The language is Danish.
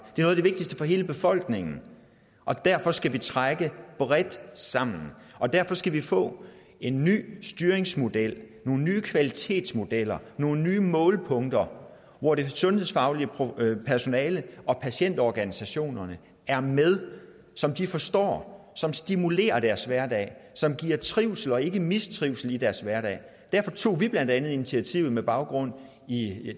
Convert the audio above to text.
noget af det vigtigste for hele befolkningen og derfor skal vi trække bredt sammen og derfor skal vi få en ny styringsmodel nogle nye kvalitetsmodeller nogle nye målpunkter hvor det sundhedsfaglige personale og patientorganisationerne er med som de forstår som stimulerer deres hverdag som giver trivsel og ikke mistrivsel i deres hverdag derfor tog vi blandt andet initiativet med baggrund i